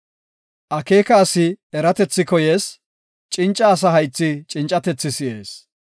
Akeeka asi eratethi koyees; cinca asa haythi cincatethi si7ees.